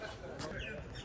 Sən də deyirsən ki, deyir.